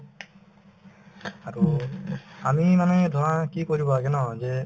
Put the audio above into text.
আৰু আমি মানে ধৰা কি কৰিব লাগে ন যে